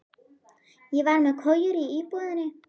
Ég var með kojur í íbúðinni.